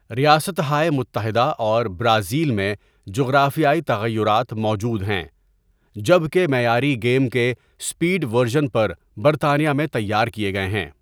ریاستہائے متحدہ اور برازیل میں جغرافیائی تغیرات موجود ہیں، جبکہ معیاری گیم کے اسپیڈ ورژن پر برطانیہ میں تیار کیے گئے ہیں۔